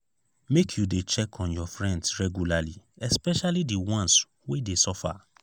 make you dey check on your friends regularly especially di ones wey dey suffer.